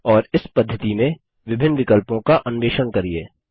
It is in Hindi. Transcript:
और इस पद्धिति में विभिन्न विकल्पों का अन्वेषण करिये